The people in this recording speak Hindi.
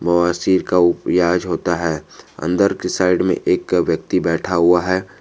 बवासीर का इलाज होता है अंदर के साइड में एक व्यक्ति बैठा हुआ है।